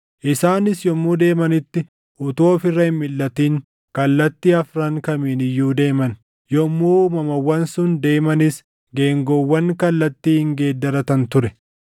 Isaanis yommuu deemanitti utuu of irra hin milʼatin kallattii afran kamiin iyyuu deeman; yommuu uumamawwan sun deemanis geengoowwan kallattii hin geeddaratan ture.